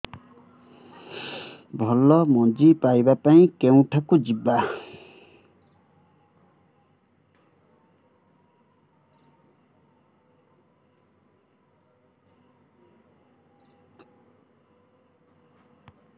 ଭଲ ମଞ୍ଜି ପାଇବା ପାଇଁ କେଉଁଠାକୁ ଯିବା